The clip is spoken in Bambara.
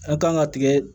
An kan ka tigɛ